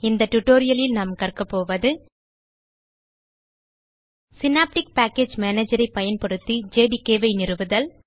இந்த tutorialலில் நாம் கற்கப்போவது சினாப்டிக் பேக்கேஜ் மேனேஜர் ஐ பயன்படுத்தி ஜேடிகே ஐ நிறுவுதல்